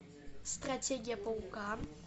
стратегия паука